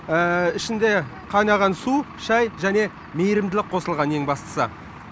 ішінде қайнаған су шай және мейірімділік қосылған ең бастысы